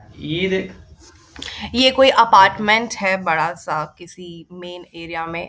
ये कोई अपार्टमेंट है बड़ा सा किसी मेन एरिया में।